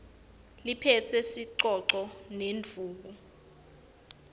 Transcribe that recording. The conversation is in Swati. liphetse sicoco nendvuku